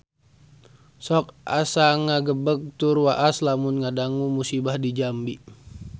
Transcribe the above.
Sok asa ngagebeg tur waas lamun ngadangu musibah di Jambi